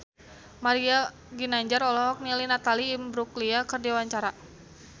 Mario Ginanjar olohok ningali Natalie Imbruglia keur diwawancara